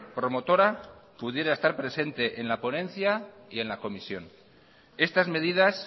promotora pudiera estar presente en la ponencia y en la comisión estas medidas